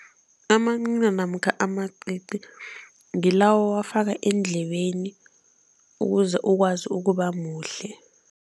Amancina namkha amacici ngilawo owafaka eendlebeni ukuze ukwazi ukuba muhle.